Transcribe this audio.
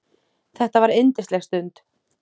Þetta var yndisleg stund.